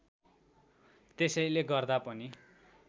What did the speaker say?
त्यसैले गर्दा पनि